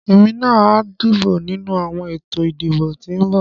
Èmi náà a dìbò nínú àwọn ètò ìdìbò tí ń bọ̀.